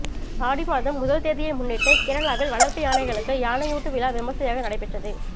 ஆடி மாதம் முதல் தேதியை முன்னிட்டு கேரளாவில் வளர்ப்பு யானைகளுக்கு யானையூட்டு விழா விமர்சையாக நடைபெற்றது